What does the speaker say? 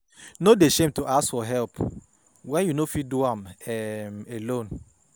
No dey shame to ask for help wen you no fit do am um alone.